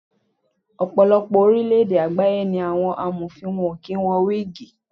Ọ̀pọ̀lọpọ̀ orílẹ̀ èdè àgbáyé ni àwọn Amọ̀fin wọn kì í wọ wígìì.